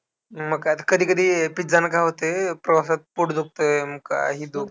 मग काय कधी कधी पिझ्झाने काय होतंय, प्रवासात पोट दुखतंय अन काही,